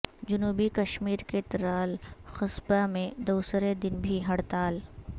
جنوبی کشمیر کے ترال قصبہ میں دوسرے دن بھی ہڑتال